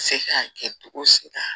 Se ka kɛ cogo si la